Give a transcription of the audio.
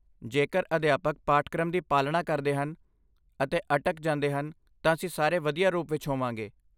ਜੇਕਰ ਅਧਿਆਪਕ ਪਾਠਕ੍ਰਮ ਦੀ ਪਾਲਣਾ ਕਰਦੇ ਹਨ ਅਤੇ ਅਟਕ ਜਾਂਦੇ ਹਨ ਤਾਂ ਅਸੀਂ ਸਾਰੇ ਵਧੀਆ ਰੂਪ ਵਿੱਚ ਹੋਵਾਂਗੇ।